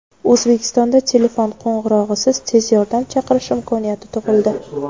O‘zbekistonda telefon qo‘ng‘irog‘isiz tez yordam chaqirish imkoniyati tug‘ildi.